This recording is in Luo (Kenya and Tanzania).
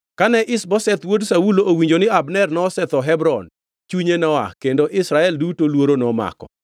Kane Ish-Bosheth wuod Saulo owinjo ni Abner nosetho Hebron, chunye noa, kendo Israel duto luoro nomako.